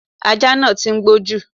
Ajá náà tí ń gbó jù.